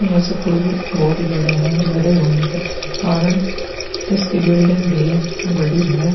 ये स्कूल बहुत बड़ा है बड़े होने के कारण इसकी बिल्डिंग भी बड़ी है।